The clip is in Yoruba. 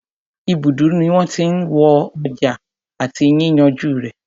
Ibùdó ní wọ́n tí n já ọjà àti yíyànjú rẹ̀.